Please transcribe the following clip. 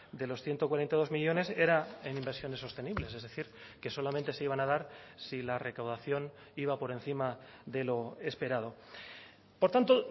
de los ciento cuarenta y dos millónes era en inversiones sostenibles es decir que solamente se iban a dar si la recaudación iba por encima de lo esperado por tanto